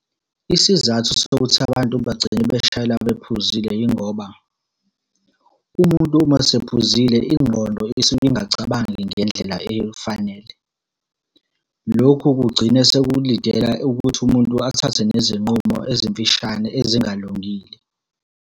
Isizathu sokuthi abantu bagcine beshayela bephuzile yingoba, umuntu uma esephuzile ingqondo isuke ingacabangi ngendlela eyifanele. Lokhu kugcina sekulidela ukuthi umuntu athathe nezinqumo ezimfishane ezingalungile.